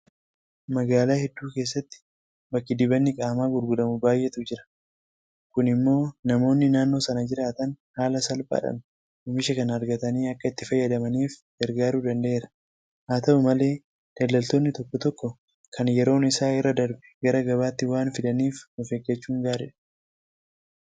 Magaalaa hedduu keessatti bakki dibanni qaamaa gurguramu baay'eetu jira. Kun immoo namoonni naannoo sana jiraatan haala salphaadhaan oomisha kana argatanii akka itti fayyadamaniif gargaaruu danda'eera. Haata'u malee daldaltoonni tokko tokko kan yeroon isaa irraa darbe gara gabaatti waan fidaniif ofeeggachuun gaariidha.